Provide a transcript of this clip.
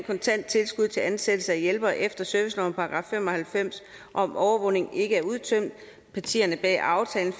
kontant tilskud til ansættelse af hjælpere efter servicelovens § fem og halvfems om overvågning ikke var udtømt partierne bag aftalen